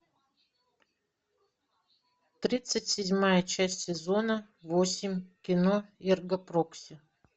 тридцать седьмая часть сезона восемь кино эрго прокси